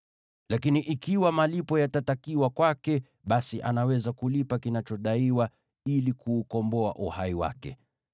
Lakini ikiwa malipo yatatakiwa kwake, basi anaweza kulipa kinachodaiwa ili kuukomboa uhai wake.